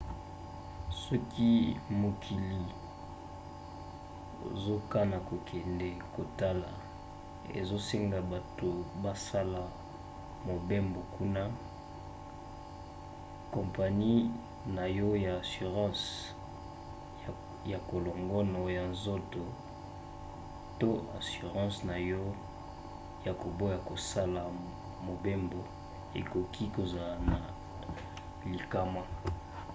soki mokili ozakana kokende kotala ezosenga bato basala mobembo kuna kompani na yo ya assurance ya kolongono ya nzoto to assurance na yo ya koboya kosala mobembo ekoki kozala na likama